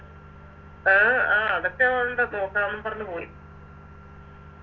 അഹ് ആഹ് അതൊക്കെ ഒണ്ട് നോക്കണം ന്ന് പറഞ്ഞ് പോയി